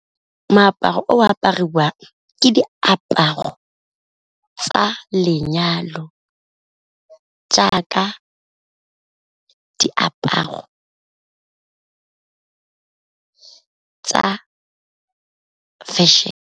Moaparo o apariwang ke diaparo tsa lenyalo jaaka diaparo tsa fashion.